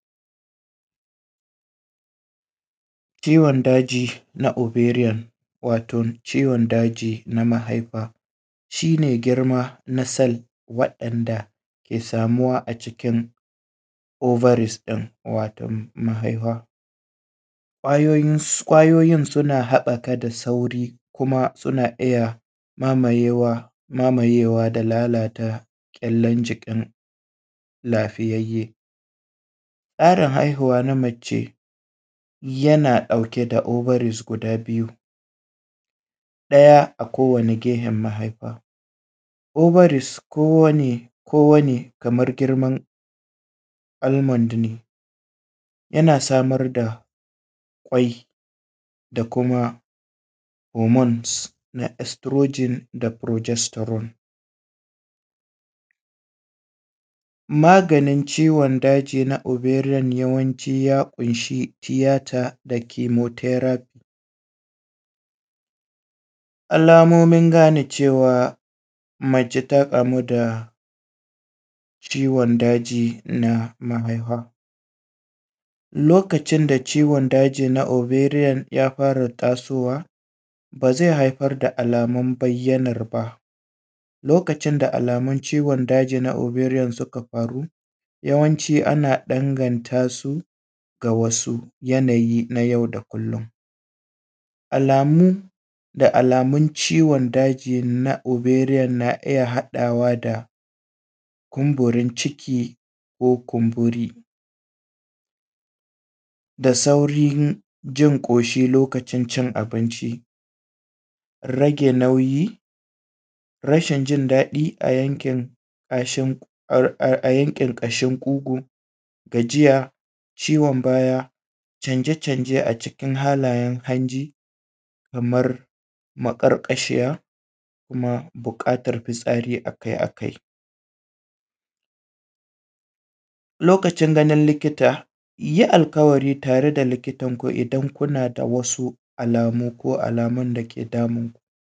Kiwon daji na overial wato ciwon daji na mahaifa shi ne girma na “cell” waɗanda ke samuwa a cikin overis ɗin wato mahaifa, ƙwayoyi ƙwayoyin suna haɓaka da sauri kuma suna iya mamayewa mamayewa da lalata kyallan jikin lafiyayye, tsarin haihuwa na mace yana ɗauke da overis guda biyu, ɗaya a kowane gefen mahaifa overis kowane kowane kamar girman ulman ne yana samar da kwainda kuma “homones na exprogen da progesterone”, magani ciwon daji na overian yawanci ya ƙunshi “theater da kimoteract,” alamomin gane cewa mace ta kamu da ciwon daji na mahaifa lokacin da ciwon daji na overian ya fara tasowa ba zai haifar da alamun bayyanar ba lokacin da alamun ciwon dajin na overian suka faru yawanci ana daganta su ga wasu yanayi na yau da kullum, alamu da alamun ciwn daji na overian na iya haɗawa da kumburin ciki ko kumburi da saurin jin ƙoshi lokacin cin abinci rage nauyi rashin jin daɗi a yankin ƙashin a yankin ƙashin ƙugu, gajiya, ciwon baya canje canje a cikin halayen hanji kamar maƙarƙashiya kuma buƙatar fitsari akai akai, lokacin ganin likita yi alƙawari tare da likita idan kuna da wasu alamu ko alamomi.